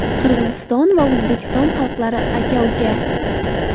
Qirg‘iziston va O‘zbekiston xalqlari aka-uka.